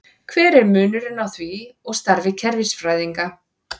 Hver er munurinn á því og starfi kerfisfræðinga?